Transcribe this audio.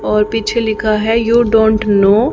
और पीछे लिखा है यू डोंट नो --